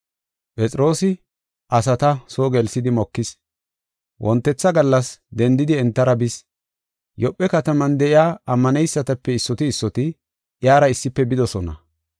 Phexroosi asata soo gelsidi mokis. Wontetha gallas, dendidi entara bis. Yoophe kataman de7iya ammaneysatape issoti issoti iyara issife bidosona.